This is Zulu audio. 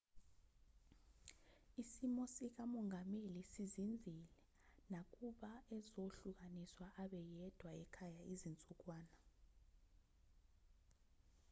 isimo sikamongameli sizinzile nakuba ezohlukaniswa abe yedwa ekhaya izinsukwana